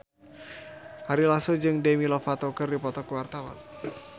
Ari Lasso jeung Demi Lovato keur dipoto ku wartawan